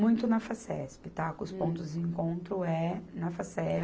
Muito na Facesp, tá, que os pontos de encontro é na Facesp.